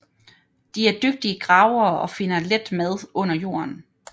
De er dygtige gravere og finder let mad under jorden